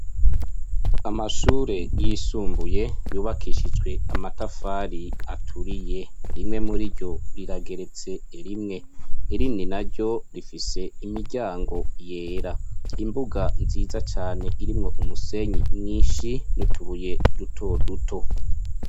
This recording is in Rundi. Amashure yisumbuye yubakishijwe amatafari aturiye, rimwe muri ryo rirageretse rimwe, irindi naryo rifise imiryango yera, imbuga nziza cane irimwo umusenyi mwinshi n'utubuye duto duto.